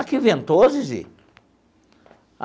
Aqui ventou, Zizi?